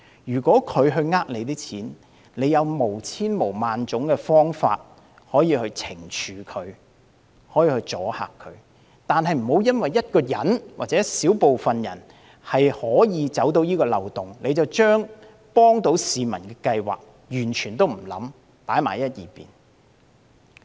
如果市民欺騙政府的金錢，政府有無數方法可以予以懲處和阻嚇，但不要因為一人或一小撮人鑽空子，便不加思索，把可以幫助市民的計劃擱置。